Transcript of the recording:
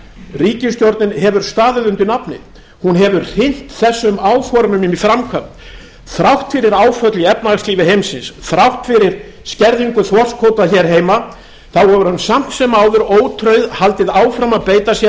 ríkisstjórnin hefur staðið undir nafni hún hefur fylgt þessum áformum í framkvæmd þrátt fyrir áföll í efnahagslífi heimsins þrátt fyrir skerðingu þorskkvóta hér heima hefur hún samt sem áður haldið áfram að beita sér